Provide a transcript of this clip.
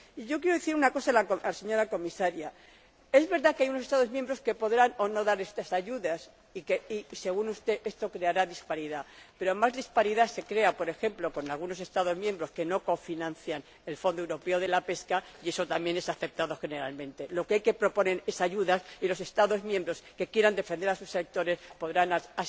Y yo quiero decir una cosa a la señora Comisaria es verdad que hay Estados miembros que podrán o no dar estas ayudas y que, según usted, esto creará disparidad, pero más disparidad se crea, por ejemplo, con algunos Estados miembros que no cofinancian el Fondo Europeo de la Pesca, y eso es algo generalmente aceptado. Lo que hay que proponer son ayudas, y los Estados miembros que quieran defender a sus sectores podrán asimismo defenderlos.